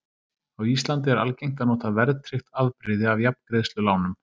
Á Íslandi er algengt að nota verðtryggt afbrigði af jafngreiðslulánum.